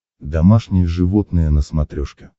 домашние животные на смотрешке